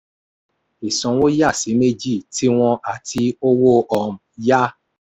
ìsanwó yà sí méjì: tiwọn àti owó um yá.